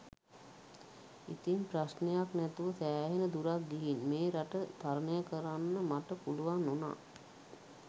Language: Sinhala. ඉතිං ප්‍රශ්ණයක් නැතුව සෑහෙන දුරක් ගිහිං මේ රට තරණය කරන්න මට පුළුවන් වුණා